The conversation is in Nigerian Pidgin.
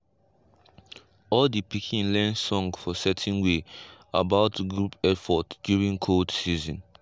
all de pikin learn song for certain way about group effort during cold season.